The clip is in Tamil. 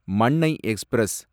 மண்ணை எக்ஸ்பிரஸ்